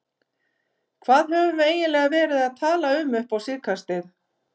Hvað höfum við eiginlega verið að tala um upp á síðkastið?